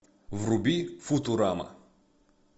вруби футурама